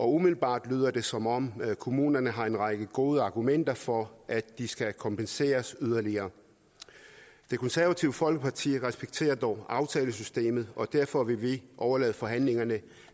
umiddelbart lyder det som om kommunerne har en række gode argumenter for at de skal kompenseres yderligere det konservative folkeparti respekterer dog aftalesystemet og derfor vil vi overlade forhandlingerne